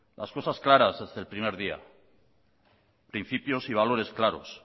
las cosas claras desde el primer día principios y valores claros